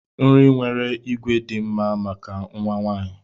Nri nwere ígwè dị mma maka nwa nwanyị.